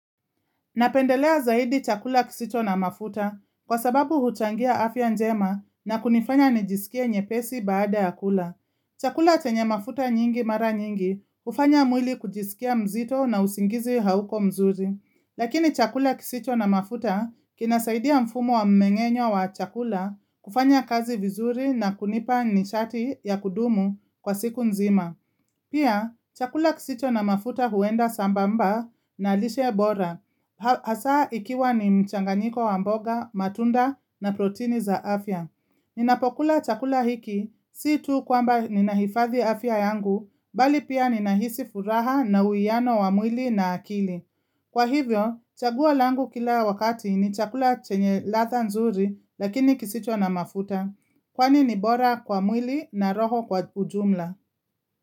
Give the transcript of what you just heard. Napendelea zaidi chakula kisicho na mafuta kwa sababu huchangia afya njema na kunifanya nijisikie nyepesi baada ya kula. Chakula chenye mafuta nyingi mara nyingi hufanya mwili kujisikia mzito na usingizi hauko mzuri. Lakini chakula kisicho na mafuta kinasaidia mfumo wa mmeng'enyo wa chakula kufanya kazi vizuri na kunipa nishati ya kudumu kwa siku nzima. Pia, chakula kisicho na mafuta huenda sambamba na lishe bora, hasa ikiwa ni mchanganiko wa mboga, matunda na protini za afya. Ninapokula chakula hiki, si tu kwamba ninahifadhi afya yangu, bali pia ninahisi furaha na uiano wa mwili na akili. Kwa hivyo, chaguo langu kila wakati ni chakula chenye ladha nzuri, lakini kisicho na mafuta, kwani ni bora kwa mwili na roho kwa ujumla.